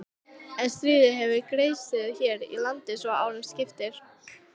En stríð hefur geisað hér í landi svo árum skiptir.